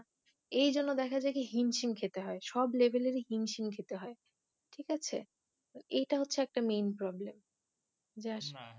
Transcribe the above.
এইজন্য দেখা যায় কি হিম সিম খেতে হয় সব Level ই হিমসিম খেতে হয় ঠিক আছে এইটা হচ্ছে একটা Main Problem just